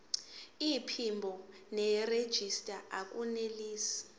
iphimbo nerejista akunelisi